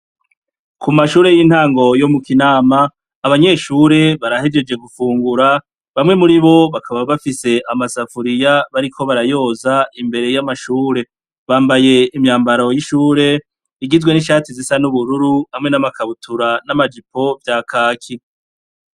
Ku mashure y'intango yo mu kinama abanyeshure barahejeje gufungura bamwe muri bo bakaba bafise amasafuriya bariko barayoza imbere y'amashure bambaye imyambaro y'ishure igizwe n'ishati zisa n'ubururu hamwe n'amakabutura n'amajipo vya kaki.